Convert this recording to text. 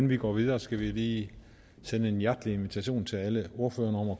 vi går videre skal jeg lige sende en hjertelig invitation til alle ordførerne om at